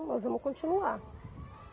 Nós vamos continuar.